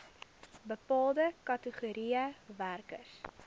bepaalde kategorieë werkers